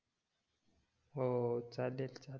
हो चालेल चालेल